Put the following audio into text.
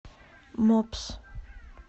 мопс